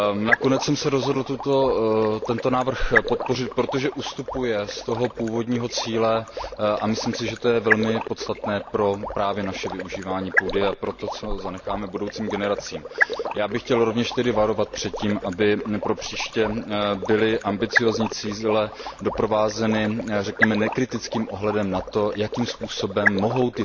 Nakonec jsem se rozhodl tento návrh podpořit, protože ustupuje z toho původního cíle a myslím si, že to je velmi podstatné právě pro naše využívání půdy a pro to, co zanecháme budoucím generacím. Já bych chtěl rovněž varovat před tím, aby pro příště byly ambiciózní cíle doprovázeny, řekněme, nekritickým ohledem na to, jakým způsobem mohou